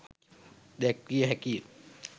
දැක්විය හැකි ය.